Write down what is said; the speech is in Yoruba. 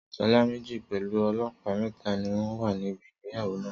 Sọ́jà méjì pẹ̀lú ọlọ́pàá mẹ́ta ni wọ́n wà níbi ìgbéyàwó náà.